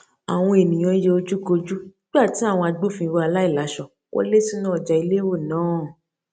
àwọn ènìyàn yẹ ojúkojú nígbà tí àwọn agbófinró aláìláṣọ wọlé sínú ọjà elérò náà